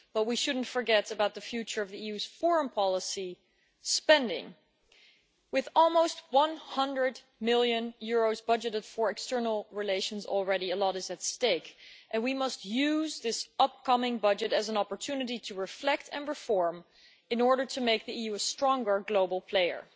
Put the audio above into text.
But we should not forget about the future of the EU's foreign policy spending, with almost EUR 100 million budgeted for external relations already, a lot is at stake, and we must use this upcoming budget as an opportunity to reflect and reform in order to make the EU a stronger global player.